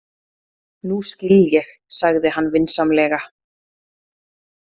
Nú skil ég, sagði hann vinsamlega.